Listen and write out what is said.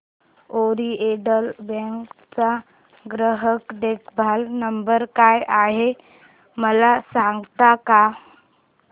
oriental bank चा ग्राहक देखभाल नंबर काय आहे मला सांगता का